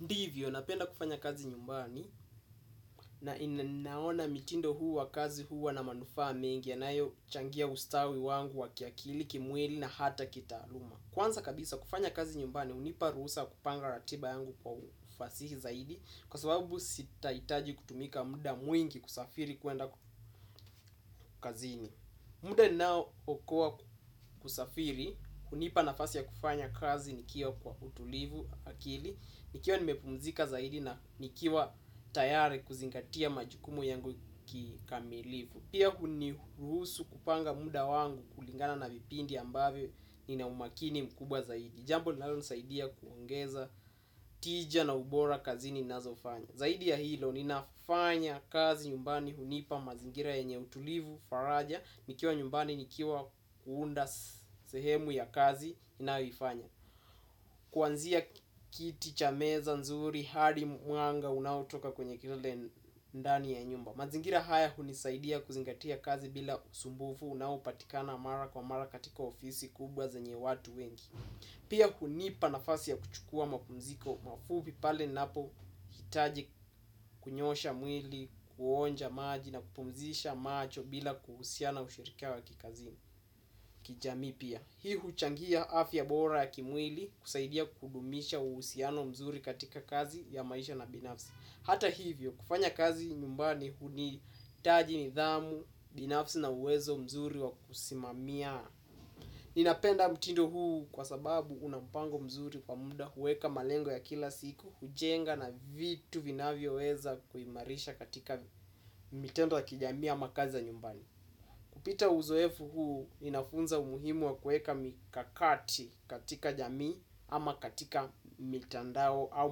Ndivyo, napenda kufanya kazi nyumbani na inaona mitindo huu wa kazi huu wa na manufa mengi ya nayo changia ustawi wangu wa kiakili, kimueli na hata kitaluma. Kwanza kabisa kufanya kazi nyumbani, unipa rusa kupanga ratiba yangu kwa ufasihi zaidi kwa sababu sitaitaji kutumika muda mwingi kusafiri kuenda kazini. Muda nao okua kusafiri, kunipa nafasi ya kufanya kazi nikiwa kwa utulivu akili. Nikiwa nimepumzika zaidi na nikiwa tayari kuzingatia majukumu yangu kikamilifu pia unihurusu kupanga muda wangu kulingana na vipindi ambavyo nina umakini mkubwa zaidi jambo linalosaidia kuongeza tija na ubora kazini nazofanya. Zaidi ya hilo ninafanya kazi nyumbani hunipa mazingira yenye utulivu faraja nikiwa nyumbani nikiwa huunda sehemu ya kazi inayoifanya kuanzia kiti, chameza, nzuri, hadi m, wanga, unautoka kwenye kilele ndani ya nyumba. Mazingira haya hunisaidia kuzingatia kazi bila usumbufu. Unaupatikana mara kwa mara katika ofisi kubwa zenye watu wengi. Pia kunipa nafasi ya kuchukua mapumziko. Mafubi pale napo hitaji kunyosha mwili, kuonja maji na kupumzisha macho. Bila kuhusiana ushirikiano wa kikazi kijami pia. Hii huchangia afya bora ya kimwili kusaidia kudumisha usiano mzuri katika kazi ya maisha na binafsi hata hivyo kufanya kazi nyumbani huni taji ni dhamu binafsi na uwezo mzuri wa kusimamia. Ninapenda mtindo huu kwa sababu unampango mzuri kwa munda huweka malengo ya kila siku. Hujenga na vitu vinavyo weza kuimarisha katika mitendo kijami ama kazi za nyumbani. Kupita uzoefu huu inafunza umuhimu wa kueka mikakati katika jamii ama katika mitandao au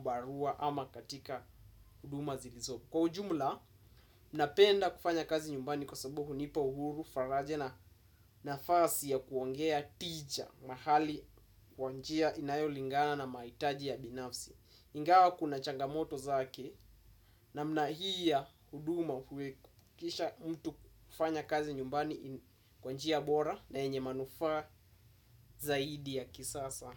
barua ama katika huduma zilizobu. Kwa ujumla, napenda kufanya kazi nyumbani kwa sabuhu nipa uhuru faraja na nafasi ya kuongea tija mahali kwanjia inayolingana na maitaji ya binafsi. Ingawa kuna changamoto zake na mnahia huduma kisha mtu kufanya kazi nyumbani kwanjia bora na enye manufa zaidi ya kisasa.